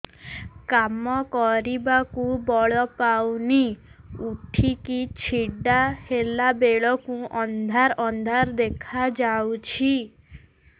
କାମ କରିବାକୁ ବଳ ପାଉନି ଉଠିକି ଛିଡା ହେଲା ବେଳକୁ ଅନ୍ଧାର ଅନ୍ଧାର ଦେଖା ଯାଉଛି